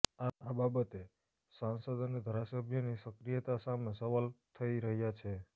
આ બાબતે સાંસદ અને ધારાસભ્યોની સક્રિયતા સામે સવાલ થઇ રહ્યા છે